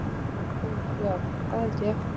Ó, já, það held ég.